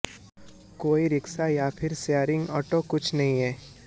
कोई रिक्शा या फिर शेयरिंग ऑटो कुछ नहीं है